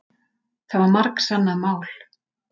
Það var margsannað mál.